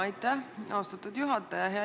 Aitäh, austatud juhataja!